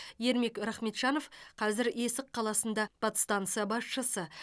ермек рахметжанов қазір есік қаласында подстанса басшысы